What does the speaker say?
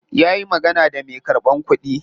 Ya yi magana da me karban kudi.